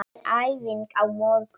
Það er æfing á morgun.